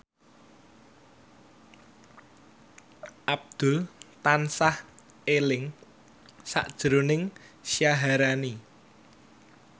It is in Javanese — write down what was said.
Abdul tansah eling sakjroning Syaharani